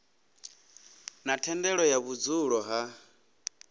na thendelo ya vhudzulo ha